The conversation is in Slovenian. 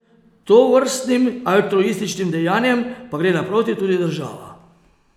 Tovrstnim altruističnim dejanjem pa gre naproti tudi država.